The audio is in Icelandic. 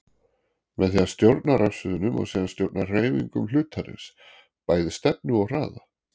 Með því að stjórna rafsviðinu má síðan stjórna hreyfingum hlutarins, bæði stefnu og hraða.